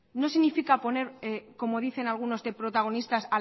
no significa poner como dicen algunos de protagonistas